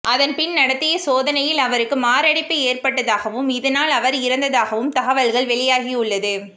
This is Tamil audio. அதன் பின் நடத்திய சோதனையில் அவருக்கு மாரடைப்பு ஏற்பட்டதாகவும் இதனால் அவர் இறந்ததாகவும் தகவல்கள் வெளியாகியுள்ளது